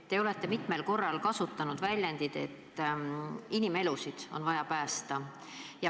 Te olete mitmel korral kasutanud väljendit, et inimelusid on vaja päästa.